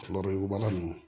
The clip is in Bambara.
Kulo wolobala nunnu